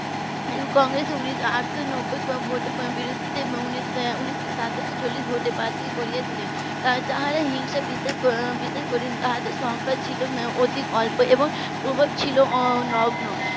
এবং কংগ্রেসের . আটশো নব্বই ভোটের বিরুদ্ধে উনিশ সাতচল্লিশ ভোটে বাতিল করে দিলেন যারা হিংসা বিশেষ করে নি তাদের সংখ্যা ছিল অতি অল্প এবং প্রভাব ছিল নগ্ন